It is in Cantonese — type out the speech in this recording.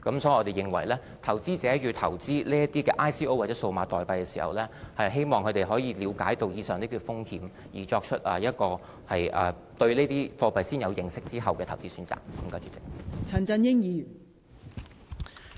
所以，我們希望投資者投資這些 ICO 或數碼貨幣時，可以了解上述的風險，先對這些貨幣有所認識，然後才作出投資選擇。